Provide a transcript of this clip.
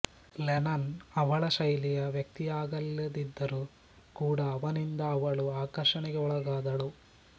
Lennon ಅವಳ ಶೈಲಿಯ ವ್ಯಕ್ತಿಯಾಗಿಲ್ಲದಿದ್ದರೂ ಕೂಡ ಅವನಿಂದ ಅವಳು ಆಕರ್ಷಣೆಗೆ ಒಳಗಾದಳು